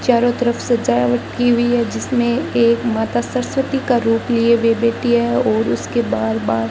चारों तरफ सजावट की हुई है जिसमें एक माता सरस्वती का रूप लिए हुए बैठी है और उसके बार बार --